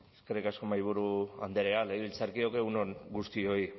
eskerrik asko mahaiburu andrea legebiltzarkideok egun on guztioi